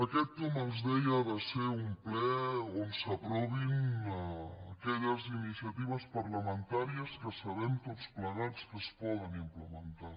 aquest com els deia ha de ser un ple on s’aprovin aquelles iniciatives parlamentàries que sabem tots plegats que es poden implementar